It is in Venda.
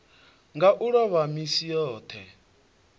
nga u ḽova misi yoṱhe